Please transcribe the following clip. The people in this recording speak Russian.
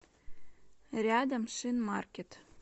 рядом шинмаркет